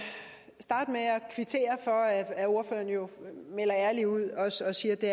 kvittere for at ordføreren jo melder ærligt ud og siger at det